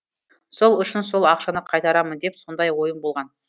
сол үшін сол ақшаны қайтарамын деп сондай ойым болған